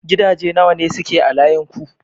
Gidaje nawa ne suke a layin ku?